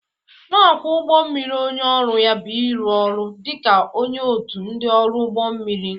Na-akwọ ụgbọ mmiri onye ọrụ ya bụ ịrụ ọrụ dị ka onye otu ndị ọrụ ụgbọ mmiri.